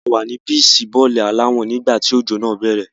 A wà ní píìṣì bọ́ọ̀lù aláwọ̀n nígbà tí òjò náà bẹ̀rẹ̀.